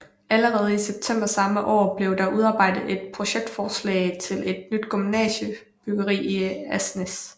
Allerede i september samme år blev der udarbejdet et projektforslag til et nyt gymnasiebyggeri i Asnæs